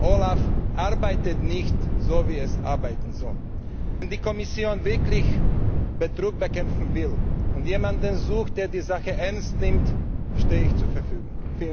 OLAF arbeitet nicht, wie es arbeiten soll. Wenn die Kommission wirklich Betrug bekämpfen will und jemanden sucht, der die Sache ernst nimmt, stehe ich zur Verfügung.